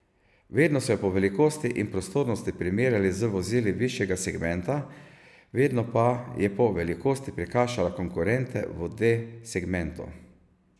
Vedno so jo po velikosti in prostornosti primerjali z vozili višjega segmenta, vedno pa je po velikosti prekašala konkurente v D segmentu.